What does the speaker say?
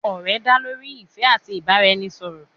òrè dá lorí ìfé ati ibaraẹnisọrọ